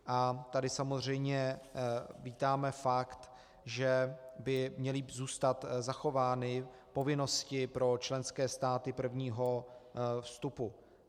A tady samozřejmě vítáme fakt, že by měly zůstat zachovány povinnosti pro členské státy prvního vstupu.